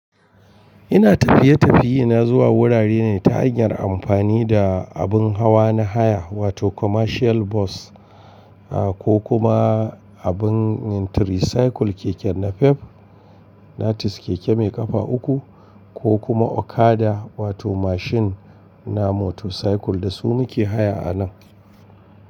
Ina tafiye-tafiye na zuwa wurare ne ta hanyar amfani da abin hawa na haya wato commercial bus, a ko kuma abin yin tricycle keke na fab, na tis keke mai kafa uku ko kuma okada wato mashin na motorcycle da su muke haya a nan.